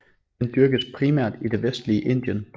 Den dyrkes primært i det vestlige Indien